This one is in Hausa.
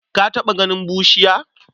Ka taɓa ganin bushiya?